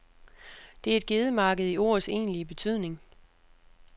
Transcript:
Det er et gedemarked i ordets egentlige betydning.